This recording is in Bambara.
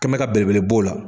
Kɛ n bɛ ka belebele b'o la